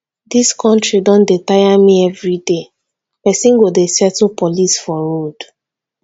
dis country don tire me everyday person go dey settle police for road